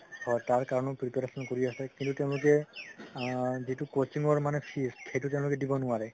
হয় তাৰ কাৰণেও preparation কৰি আছে কিন্তু তেওঁলোকে আ যিতো coaching ৰ মানে fees সেইটো তেওঁলোকে দিব নোৱাৰে